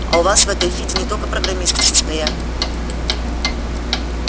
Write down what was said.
а у вас в этой фиде не только программисты состоят